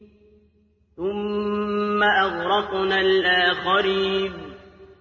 ثُمَّ أَغْرَقْنَا الْآخَرِينَ